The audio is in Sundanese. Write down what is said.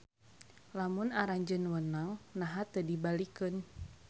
Lamun aranjeun wenang naha teu dibalikkeun.